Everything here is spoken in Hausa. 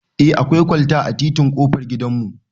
Eh akwai kwalta a titin ƙofar gidan mu